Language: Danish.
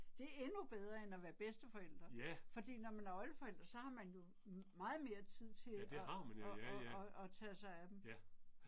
Det er endnu bedre end at være bedsteforælder, fordi når man er oldeforælder så har man jo meget mere tid til at at at at tage sig af dem